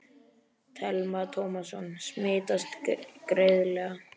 Telma Tómasson: Smitast greiðlega?